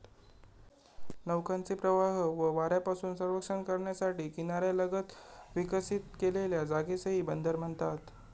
नौकांचे प्रवाह व वाऱ्यापासून रक्षण करण्यासाठी किनाऱ्यालगत विकसित केलेल्या जागेसही बंदर म्हणतात.